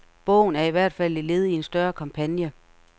Bogen er i hvert fald et led i en større kampagne.